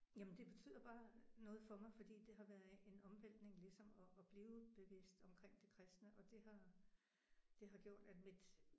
Jamen det betyder bare noget for mig fordi det har været en omvæltning ligesom at at blive bevidst omkring det kristne og det har gjort at mit